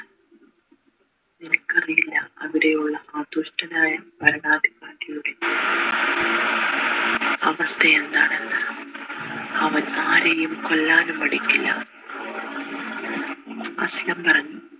എനിക്കറിയില്ല അവിടെയുള്ള ആ ദുഷ്ടനായ ഭരണാധികാരിയുടെ അവസ്ഥ എന്താണെന്ന് അവൻ ആരെയും കൊല്ലാനും മടിക്കില്ല അസ്‌ലം പറഞ്ഞു